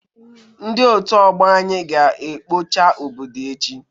Ndị otu ọgbọ anyị ga ekpocha obodo echi